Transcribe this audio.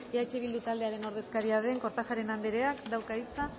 eh bildu taldearen ordezkaria den kortajarena andreak dauka hitza